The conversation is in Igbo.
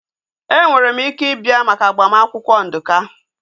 Enwere m ike ị bịa maka agbamakwụkwọ Nduka